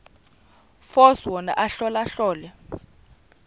force wona ahlolahlole